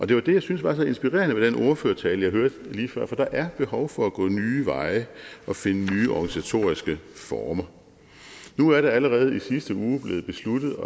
det var det jeg synes var så inspirerende ved den ordførertale jeg hørte lige før for der er behov for at gå nye veje og finde nye organisatoriske former nu er det allerede i sidste uge blevet besluttet